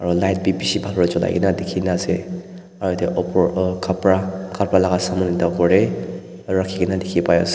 light bi bishi bhal ba cholai kaena dikhina ase aro yate opor khapra khapra laka saman ekta opor tae rakhi kaena dikhipaiase.